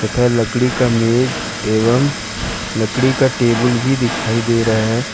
एक यह लकड़ी का मेज एवं लकड़ी का टेबल भी दिखाई दे रहा है।